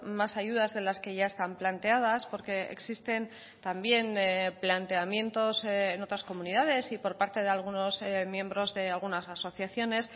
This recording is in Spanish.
más ayudas de las que ya están planteadas porque existen también planteamientos en otras comunidades y por parte de algunos miembros de algunas asociaciones